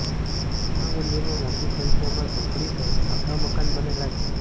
ભૂસા મંડીમાં મોટી સંખ્યામાં ઝૂંપડી સહિત પાકા મકાન બનેલા છે